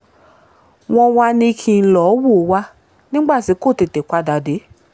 wọ́n wàá ní kí n n lọ́ọ wò ó wà nígbà tí kò tètè padà dé